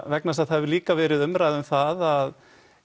vegna þess að það hefur líka verið umræða um það að